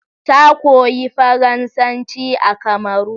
Ta koyi faransaci a Kamaru